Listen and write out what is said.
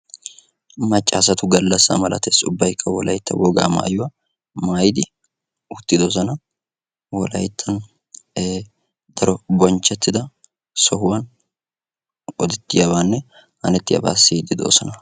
macca asatu galassaa malatees. ubbaykka wogaa maayuwa maayidi uttidosona. wolayttan daro bonchchetida sohuwan polettiyaabaanne hannettiyaabaa siyiidi doosona.